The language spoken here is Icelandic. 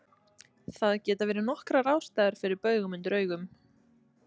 Það geta verið nokkrar ástæður fyrir baugum undir augum.